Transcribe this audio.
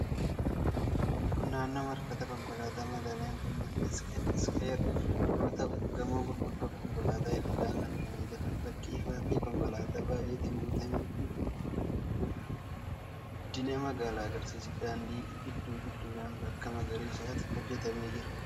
Kun naannoo marfata konkolaataa magaalaa Finfinnee, 'Mesqel Square' yoo ta'u, gamoo gurguddoo fi konkolaattota hedduudhaan marfamee jira. Bakki ifaa fi konkolaataa baay'eetiin guutame kun guddina magaalaa agarsiisa. Daandii giddu gidduudhaan bakka magariisatu hojjetamee jira.